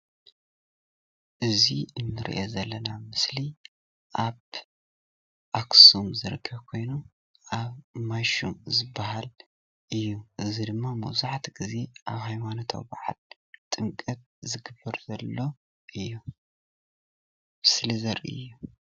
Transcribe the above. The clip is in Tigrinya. እዚ እንሪኦ ዘለና ምስሊ ኣብ ኣክሱም ዝርከብ ኮይኑ ኣብ ማይሹም ዝባሃል እዩ፣ እዚ ድማ መብዛሕትኡ ግዜ ኣብ ሃይማኖታዊ በዓል ጥምቀት ዝግበር ዘሎ እዩ ምስሊ ዘርኢ እዩ፡፡